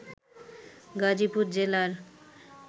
গাজীপুর জেলার